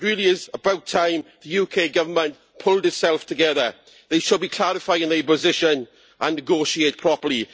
It really is about time the UK Government pulled itself together they should be clarifying their position and negotiating properly.